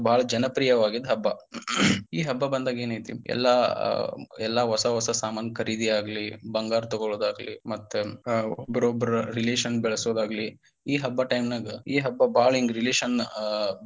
ಬಾಳ ಜನಪ್ರಿಯ ಹಬ್ಬ ಈ ಹಬ್ಬ ಬಂದಾಗ ಏನೈತಿ ಎಲ್ಲಾ ಎಲ್ಲಾ ಹೊಸಾ ಹೊಸಾ ಸಾಮಾನ ಖರೀದಿಯಾಗಲಿ ಬಂಗಾರ ತೊಗೊಳೋದಾಗ್ಲಿ ಮತ್ತ ಒಬ್ಬೊಬ್ಬರ relation ಬೆಳಸೋದಾಗ್ಲಿ ಈ ಹಬ್ಬ time ನಾಗ ಈ ಹಬ್ಬ ಬಾಳ ಹಿಂಗ relation.